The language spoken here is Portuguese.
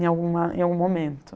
Em alguma em algum momento.